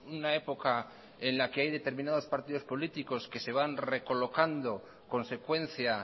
una época en la que hay determinados partidos políticos que se van recolocando consecuencia